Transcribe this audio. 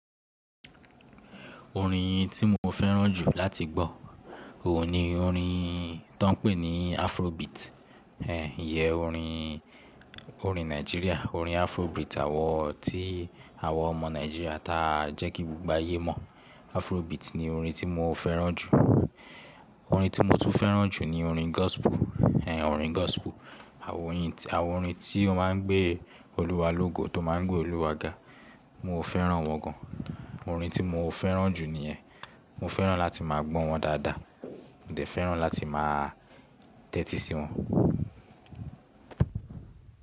Orin tí mo fẹ́ràn jù láti gbọ́, òun ni orin tọ ń pè ní Afrobeat. Ẹ̀ iyẹn orin, orin Nàìjíríà, orin Afrobeat àwọn tí àwọn ọmọ Nàìjíríà ta jẹ́ kí gbogbo ayé mọ̀. Afrobeat ni orin tí mo fẹ́ràn jù. Orin tí mo tún fẹ́ràn jù ni orin gospel. Ẹ̀ orin gospel, àwọn orin tí wọ́n má ń gbé Olúwa lógo, tó má ń gbé Olúwa ga. Mo ò fẹ́ràn wọn gan. Orin tí mo ò fẹ́ràn jù ní ẹ̀. Mo fẹ́ràn láti má a gbọ́ wọn dáadáa Mo dè fẹ́ràn láti má a tẹ́tí sí wọn.